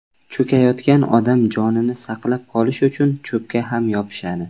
Cho‘kayotgan odam jonini saqlab qolish uchun cho‘pga ham yopishadi.